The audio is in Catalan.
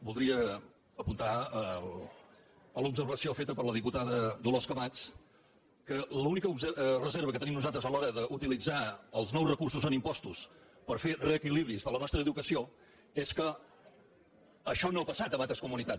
voldria apuntar a l’observació feta per la diputada dolors camats que l’única reserva que tenim nosaltres a l’hora d’utilitzar els nous recursos en impostos per fer reequilibris de la nostra educació és que això no ha passat en altres comunitats